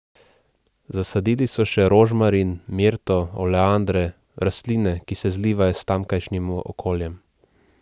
Zasadili so še rožmarin, mirto, oleandre, rastline, ki se zlivajo s tamkajšnjim okoljem.